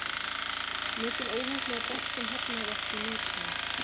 Mikil óheppni að boltinn hafnaði ekki í netinu.